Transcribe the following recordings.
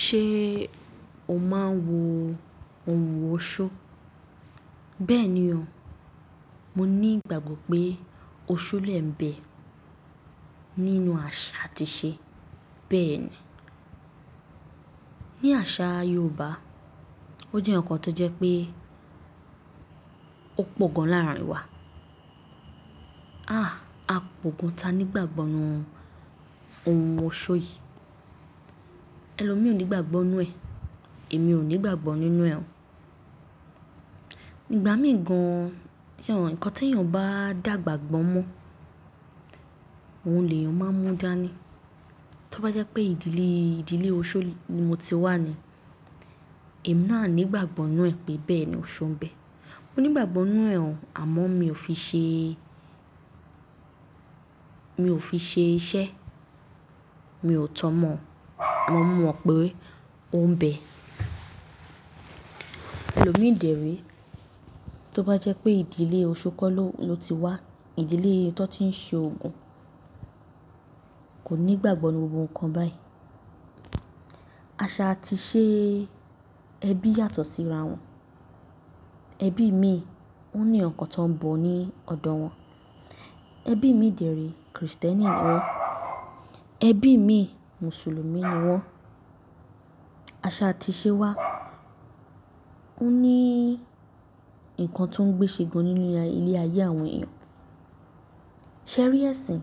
Ṣé o máa ń wo ohun òóṣó? Bẹ́ẹ̀ni o, mo ní ìgbàgbọ́ pé òóṣó lè ń bẹ nínú àṣà àti ìṣe. Bẹ́ẹ̀ni, ní àṣà Yorùbá ó jẹ́ ǹkan tó jẹ́ pé ó pọ̀ gan láàrin wa. A p'ogan ta ni ìgbàgbọ́ nínú ohun òóṣó yìí. Ẹ̀lọ́ mi ò ní ìgbàgbọ́ nínú ẹ, èmi ò ní ìgbàgbọ́ nínú ẹ ó. Ìgbà mìí gàn, se mo, ǹkan tí èèyàn bá dàgbà gbọ́n mọ́, òhùn lé èèyàn máa ń mú dáa ni. Tí ó bá jẹ́ pé ìdílé, ìdílé òóṣó ni mo ti wà ni, èmi náà a ní ìgbàgbọ́ nínú ẹ pé bẹ́ẹ̀ni òóṣó ń bẹ. Mo ní ìgbàgbọ́ nínú ẹ àmọ́ mi ò fi ṣe, mi ò fi ṣe iṣẹ́, mi ò tọ́ ọmọ, àmo mó mọ̀ pé òun ń bẹ. Ẹ̀lọ́mi dèré tó bá jẹ́ pé ìdílé òóṣó kọ́ ló ti wá, ìdílé tó ti ń ṣe Ògún kò ní ìgbàgbọ́ nínú gbogbo nkan báyìí. Àṣà àti ìṣe ẹbí yàtọ̀ síra wọn. Ẹbí mi ò ní ǹkan kan tó ń bọ̀ ní ọ̀dọ̀ wọn. Ẹbí mi dèré Kristẹni ni wọ́n, ẹbí mi Mùsùlùmí ni wọ́n. Àṣà àti ìṣe wa ó ní ǹkan tó ń gbé ṣe gan nínú ilé-ayé àwọn èèyàn. Ṣé rí ẹ̀sìn?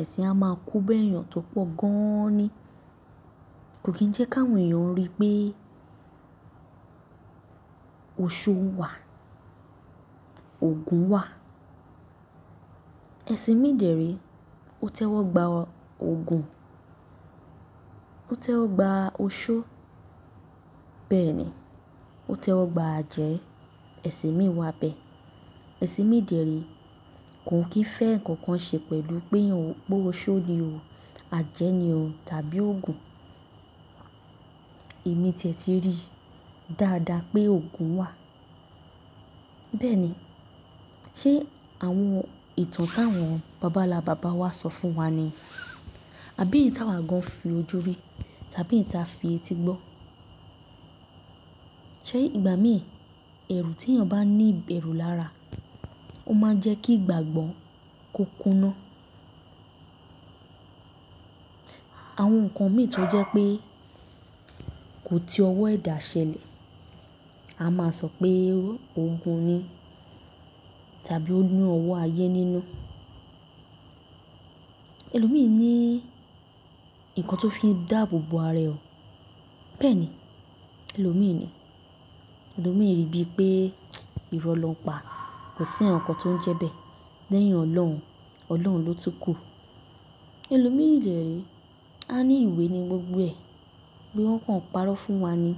Ẹ̀sìn á máa kó bàa èèyàn tó pọ̀ gan ni. Kò kì í jẹ́ kà wọn èèyàn rí pé òóṣó wà, Ògún wà. Ẹ̀sìn mi dèré ó tẹ́wọ́ gba Ògún, ó tẹ́wọ́ gba òóṣó. Bẹ́ẹ̀ni ó tẹ́wọ́ gba àjẹ́, ẹ̀sìn mi wà bẹ. Ẹ̀sìn mi dèré kò kín fẹ́ ǹkan kan ṣe pẹ̀lú pé òóṣó ni o, àjẹ́ ni o tàbí Ògún. Èmi tẹ̀ tí rí dáadáa pé Ògún wà. Bẹ́ẹ̀ni, ṣé àwọn ìtàn tà wọn bàbàlábàbá wa sọ fún wa ni? Àbí ìta wa gan fi ojú rí tàbí ìta fi etí gbọ́? Ṣé ìgbà mìí, ẹ̀rù tí èèyàn bá ní ìbẹ̀rù lára ó máa ń jẹ́ kí ìgbàgbọ́ kó kúná. Àwọn ǹkan mìí tó jẹ́ pé kò ti ọwọ́ èdá ṣẹlẹ̀, a máa sọ pé Ògún ni tàbí ó ní ọwọ́ ayé nínú. Ẹ̀lọ́mi ní ìkan tó fi ń dàbòbò ara ẹ ò. Bẹ́ẹ̀ni ẹlọ̀mi ni. Ẹ̀lọ́mi rí bí pé irọ́ lọ ń pa, kò sí ǹkan kan tó ń jẹ́ bẹ́ẹ̀ lẹ́yìn Ọlọ́run, Ọlọ́run ló túkù. Ẹ̀lọ́mi dèré a ní ìwé ni gbogbo ẹ, bí wọ́n kàn ń parọ́ fún wa ni.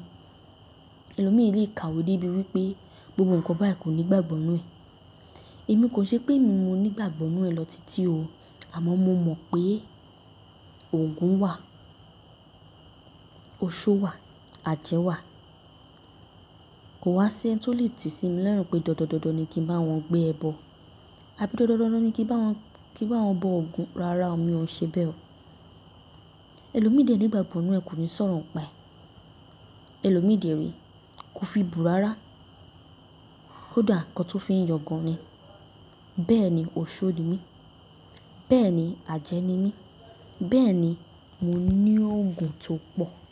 Ẹ̀lọ́mi lè kàwé dé ibi wípé gbogbo ǹkan báyìí kò ní gbàgbọ́ ń ínú ẹ. Èmi kò ṣe pé mi ò ní ìgbàgbọ́ nínú ẹ lọ títí o, àmọ́ mo mọ̀ pé Ògún wà, òóṣó wà, àjẹ́ wà. Kò wá sí ẹni tó lè tì sí mi lorùn pé dandan dandan ni kí n bá wọn gbé ẹbọ àbí dandan dandan ni kí n bá wọn, kí n bá wọn bọ Ògún. Rárá o, mi ò ṣe bẹ́ẹ̀ o. Ẹ̀lọ́mi dè ní ìgbàgbọ́ nínú ẹ kò ní sọ̀rọ̀ ń pa ẹ. Ẹ̀lọ́mi dèré ko fi bó rárá, ko dá ǹkan tó fi ń yàn gan ni. Bẹ́ẹ̀ni òóṣó ni mí, bẹ́ẹ̀ni àjẹ́ ni mí, bẹ́ẹ̀ni mo ní Ògún tó pọ̀.